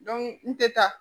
n tɛ taa